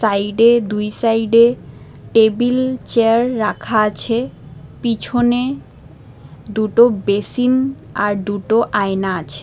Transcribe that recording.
সাইডে দুই সাইডে টেবিল চেয়ার রাখা আছে পিছনে দুটো বেসিন আর দুটো আয়না আছে।